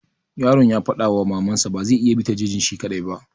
Yaron ya faɗa wa maman sa cewa ba zai iya bi ta jejin shi kaɗai ba.